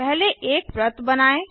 पहले एक वृत्त बनाएँ